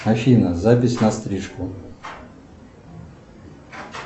афина запись на стрижку